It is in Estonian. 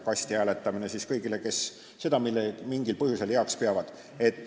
Kasti hääletamine on siis mõeldud kõigile, kes seda mingil põhjusel heaks peavad.